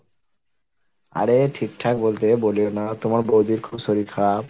আরে ঠিকঠাক বলতে বলিও না তোমার বৌদির খুব শরীর খারাপ?